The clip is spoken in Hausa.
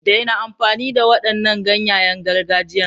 Daina amfani da waɗannan ganyayen gargajiyan!